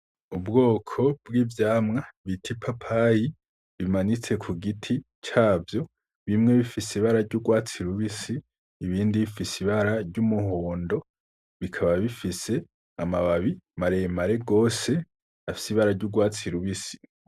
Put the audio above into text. Ubwoko bw'ivyamwa bita ipapayi, bimanitse kugiti cavyo, bimwe bifise ibara ry'urwatsi rubisi, ibindi bifise ibara ry'umuhondo, bikaba bifise amababi maremare rwose, afise ibara ry'urwatsi rubisi.